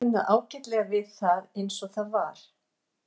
Hann hafði kunnað ágætlega við það eins og það var.